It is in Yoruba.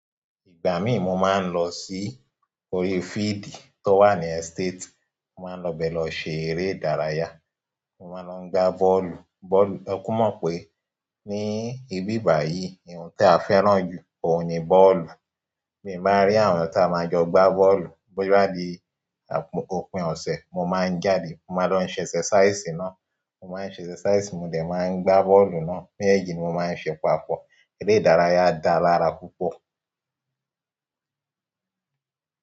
Ìgbà mí mo máa ń lọ sí orí field tó wà ní estate. Mo máa ń lọ bẹ̀ lọ ṣe eré ìdárayá. Mo máa ń lọ gba bọ́ọ̀lù. Bọ́ọ̀lù-- ẹ ku mọ̀ pé ní ibí ìbà yìí, ohun tí a fẹ́ràn jù oun ní bọ́ọ̀lù. Bí n bá rí àwọn tí a máa jọ gba bọ́ọ̀lù bóya bi òpin ọ̀ṣe, mo máa ń jáde. Mo máa ń lọ ṣẹ̀ ṣẹ̀sẹ̀síṣí náà, mo máa ń ṣẹ̀sẹ̀síṣí, mo dẹ̀ máa ń gba bọ́ọ̀lù náà. Mẹ́jẹ́eji ni mo máa ń ṣe papọ̀. Eré ìdárayá dá lára púpọ̀.